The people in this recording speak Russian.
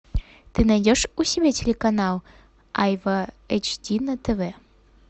ты найдешь у себя телеканал айва эйч ди на тв